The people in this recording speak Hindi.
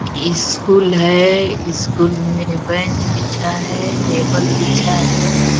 ईस्कूल है ईस्कूल में बेंच बिछा है टेबल बिछा है।